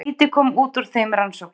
Lítið kom út úr þeim rannsóknum.